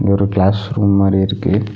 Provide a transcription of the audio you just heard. ஒரு class room மாரி இருக்கு.